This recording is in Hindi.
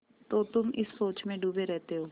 तो तुम इस सोच में डूबे रहते हो